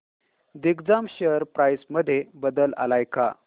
Digjam share price मध्ये बदल आलाय का